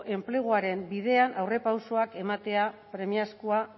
enpleguaren bidean aurrerapausoak ematea premiazkoa